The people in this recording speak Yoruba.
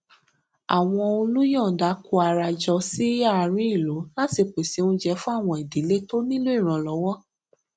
àwọn olùyòǹda kó ara jọ sí àárín ìlú láti pèsè oúnjẹ fún àwọn ìdílé tó nílò ìrànlówó